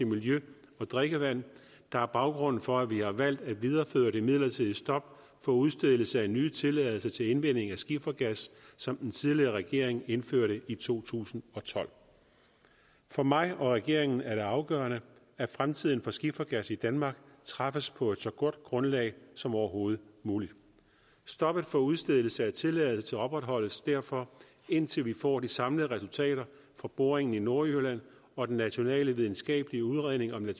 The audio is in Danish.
miljø og drikkevand der er baggrunden for at vi har valgt at videreføre det midlertidige stop for udstedelse af nye tilladelser til indvinding af skifergas som den tidligere regering indførte i to tusind og tolv for mig og regeringen er det afgørende at fremtiden for skifergas i danmark træffes på så godt et grundlag som overhovedet muligt stoppet for udstedelse af tilladelser opretholdes derfor indtil vi får de samlede resultater fra boringen i nordjylland og den nationale videnskabelige udredning om